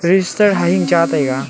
register ha hing cha taiga.